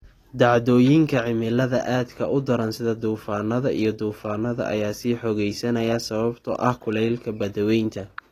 Dhacdooyinka cimilada aadka u daran sida duufaannada iyo duufaannada ayaa sii xoogaysanaya sababtoo ah kulaylka badweynta.